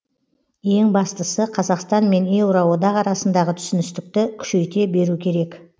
ең бастысы қазақстан мен еуроодақ арасындағы түсіністікті күшейте беру керек